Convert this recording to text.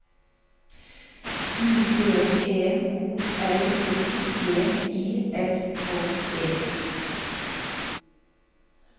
I D E O L O G I S K E